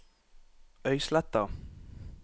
Øysletta